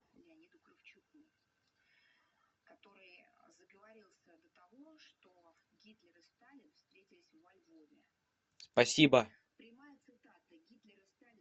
спасибо